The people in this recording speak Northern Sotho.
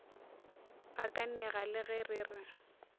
gakanega le ge re re